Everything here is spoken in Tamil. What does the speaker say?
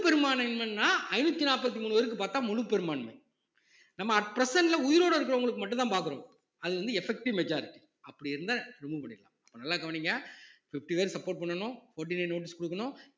பெரும்பான்மை என்னன்னா ஐந்நூத்தி நாற்பத்தி மூணு பேருக்கு பார்த்தா முழு பெரும்பான்மை நம்ம at present ல உயிரோட இருக்கிறவங்களுக்கு மட்டும்தான் பார்க்கிறோம் அது வந்து effective majority அப்படி இருந்தா remove பண்ணிடலாம் இப்ப நல்லா கவனிங்க fifty பேர் support பண்ணனும் fourteen day notice குடுக்கணும்